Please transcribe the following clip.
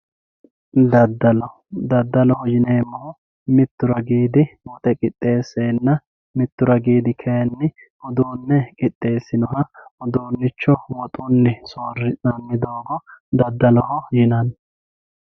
daddalo daddaloho yineemmohu mittu rraggi woxe qixeesseenna mittu ragiidi kayiinni uduunne qixeessinoha uduunnicho woxunni soorri'nanni doogo daddaloho yinanni.